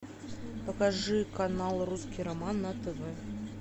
покажи канал русский роман на тв